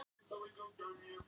Í tilefni af fimmtugsafmælinu